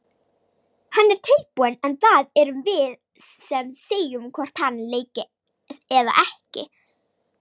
Hann er tilbúinn en það erum við sem segjum hvort hann leiki eða ekki.